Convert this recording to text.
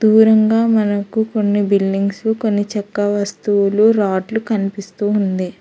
దూరంగా మనకు కొన్ని బిల్డింగ్స్ కొన్ని చెక్క వస్తువులు రాడ్లు కనిపిస్తూ ఉంది.